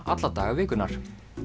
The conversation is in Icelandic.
alla daga vikunnar